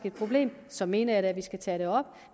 et problem så mener jeg da at vi skal tage det op